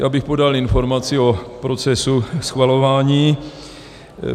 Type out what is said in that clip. Já bych podal informaci o procesu schvalování.